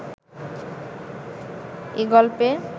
এ গল্পে